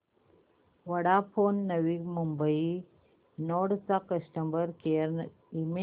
Vodafone Navi Mumbai node चा customer care email